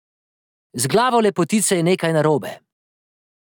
Z glavo lepotice je nekaj narobe.